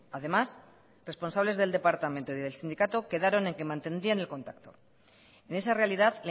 además responsables del departamento y del sindicato quedaron en que mantendrían el contacto en esa realidad